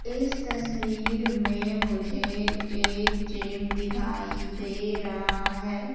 इस तस्वीर में मुझे एक जिम दिखाई दे रहा है।